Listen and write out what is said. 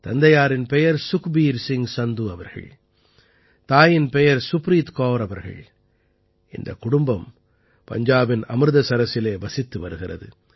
தந்தையாரின் பெயர் சுக்பீர் சிங் சந்து அவர்கள் தாயின் பெயர் சுப்ரீத் கௌர் அவர்கள் இந்தக் குடும்பம் பஞ்சாபின் அமிர்தசரசிலே வசித்து வருகிறது